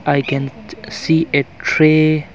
I can see a tray.